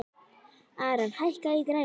Aran, hækkaðu í græjunum.